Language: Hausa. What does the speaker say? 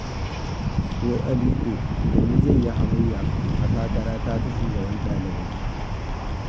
Wai Aliko da ni zai yi hamayya a takarata ta shugabar ɗalibai!